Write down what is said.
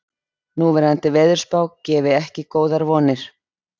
Núverandi veðurspá gefi ekki góðar vonir